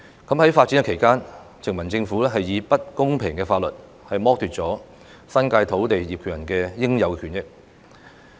在發展期間，殖民政府以不公平的法律剝奪了新界土地業權人的應有權益。